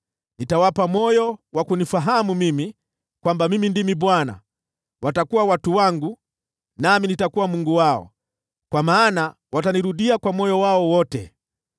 nitawapa moyo wa kunifahamu mimi, kwamba mimi ndimi Bwana . Watakuwa watu wangu, nami nitakuwa Mungu wao, kwa maana watanirudia kwa moyo wao wote.